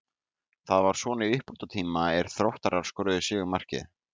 Það var svo í uppbótartíma er Þróttarar skoruðu sigurmarkið.